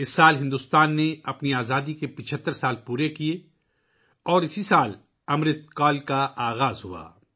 اس سال بھارت نے اپنی آزادی کے 75 سال مکمل کیے اور اسی سال امرت کال کا آغاز ہوا